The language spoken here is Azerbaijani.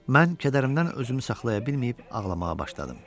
Mən kədərimdən özümü saxlaya bilməyib, ağlamağa başladım.